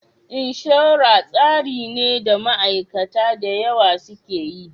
Insurance tsari ne da ma aikata dayawa suke yi